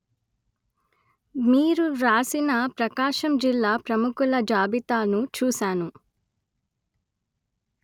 మీరు వ్రాసిన ప్రకాశం జిల్లా ప్రముఖుల జాబితాను చూశాను